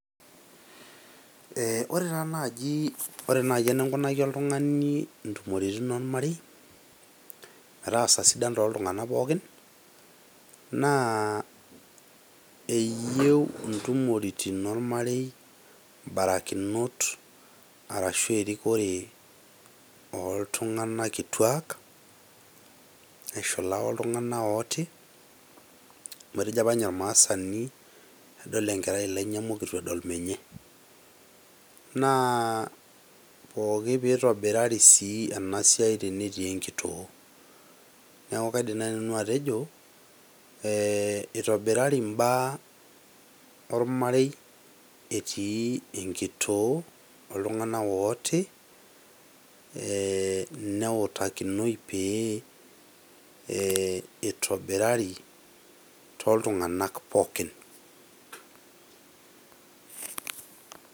Ore taa naji , ore naji eninkunaki oltungani ntumoritin ormarei metaasa sidain toltunganak pookin naa eyieu intumoritin ormarei mbarakinot arashu erikore oltunganak kituaak neshula oltunganak ooti . Amu etejo apa ninye ormaasani kedol enkerai ilainyamuk eitu edol menye. Naa pooki tenitobirari ena siai tenetii enkitoo. Niaku kaidim naji nanu atejo eeh itobirari imbaa ormarei etii enkitoo ee neutakinoi pee eitobirari toltunganak pookin.